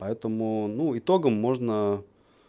поэтому ну итогам можно